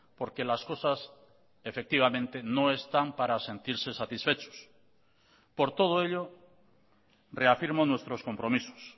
porque las cosas efectivamente no están para sentirse satisfechos por todo ello reafirmo nuestros compromisos